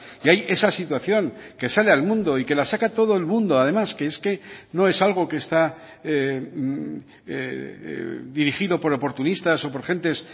y hay esa situación que sale al mundo y que la saca todo el mundo además que es que no es algo que está dirigido por oportunistas o por gentes